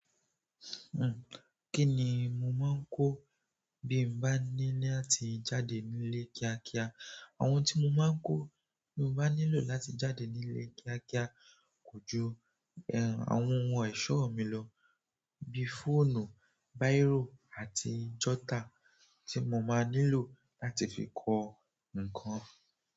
Kí ni mo máa ń kó bí n bá ní láti jáde nílé kíá kíá? Àwọn tí mo máa ń kó bí mo bá nílò láti jáde nílé kíá kíá kò ju àwọn ohun ẹ̀ṣọ́ mi lọ bi fọ́ọ̀nù, báírò àti jọ̀ta tí mo máa nílò láti fi kọ ǹnkan.